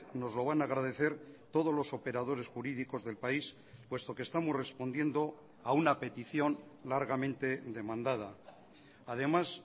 nos lo van a agradecer todos los operadores jurídicos del país puesto que estamos respondiendo a una petición largamente demandada además